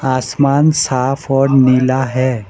आसमान साफ और नीला है।